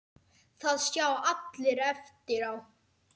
Það sjá allir eftir á.